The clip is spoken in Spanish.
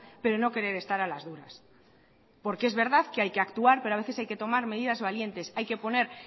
pero no querer estar a las duras porque es verdad que hay que actuar pero a veces hay que tomar medidas valientes hay que poner